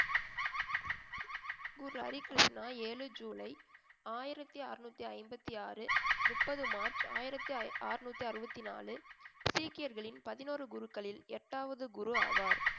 குரு ஹரி கிருஷ்ணா ஏழு ஜூலை ஆயிரத்தி அறுநூத்தி ஐம்பத்தி ஆறு முப்பது மார்ச் ஆயிரத்தி ஐ~ அறுநூத்தி அறுபத்தி நாலு சீக்கியர்களின் பதினோரு குருக்களில் எட்டாவது குரு ஆவார்